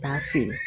K'a feere